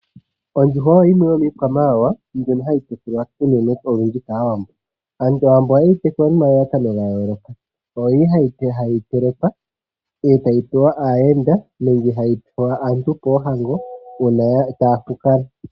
Ondjuhwa oyo yimwe yomiikwamawawa mbyono hayi tekulwa kaawambo. Aantu ohaye yi tekula nomalalakano gayooloka. Ohayi telekwa e tayi pewa aayenda nenge aantu poohango uuna taya fukala.